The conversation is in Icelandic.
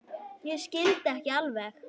Ég skildi ekki alveg.